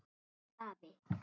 Pétur afi.